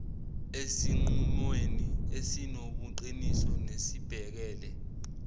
esinqumweni esinobuqiniso nesibhekele